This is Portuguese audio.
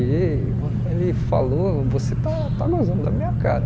E ele falou, você está está gozando da minha cara.